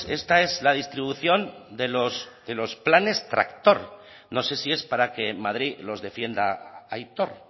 esta es la distribución de los de los planes tractor no sé si es para que en madrid los defienda aitor